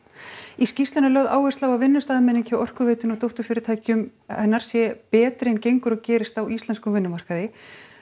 í skýrslunni er lögð áhersla á að vinnustaðarmenning hjá Orkuveitunni og dótturfyrirtækjum hennar sé betri en gengur og gerist á íslenskum vinnumarkaði